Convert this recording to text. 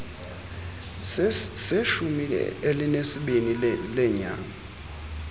seshumi elinesibini leenyanga